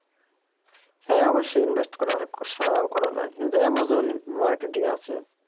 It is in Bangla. হ্যাঁ অবশ্যই invest করা ছাড়াও করা যায় এই অ্যামাজন marketing আছে